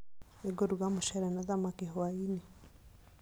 Nĩngũruga mũcere na thamaki hwaĩ-inĩ